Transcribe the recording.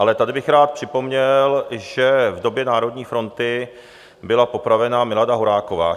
Ale tady bych rád připomněl, že v době Národní fronty byla popravena Milada Horáková.